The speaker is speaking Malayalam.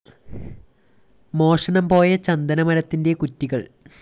മോഷണം പോയ ചന്ദന മരത്തിന്റെ കുറ്റികള്‍